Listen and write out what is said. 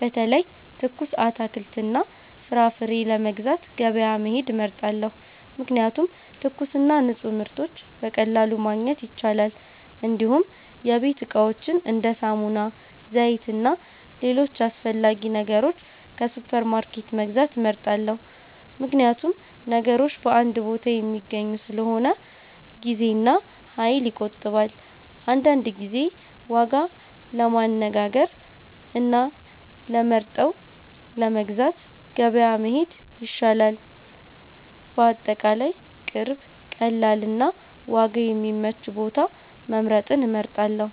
በተለይ ትኩስ አትክልትና ፍራፍሬ ለመግዛት ገበያ መሄድ እመርጣለሁ፣ ምክንያቱም ትኩስና ንፁህ ምርቶች በቀላሉ ማግኘት ይቻላል። እንዲሁም የቤት እቃዎችን እንደ ሳሙና፣ ዘይት እና ሌሎች አስፈላጊ ነገሮች ከሱፐርማርኬት መግዛት እመርጣለሁ፣ ምክንያቱም ነገሮች በአንድ ቦታ የሚገኙ ስለሆነ ጊዜና ኃይል ይቆጠባል። አንዳንድ ጊዜ ዋጋ ለማነጋገር እና ለመርጠው ለመግዛት ገበያ መሄድ ይሻላል። በአጠቃላይ ቅርብ፣ ቀላል እና ዋጋ የሚመች ቦታ መምረጥን እመርጣለሁ።